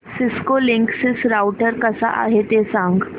Cisco Linksys router कसा आहे ते सांग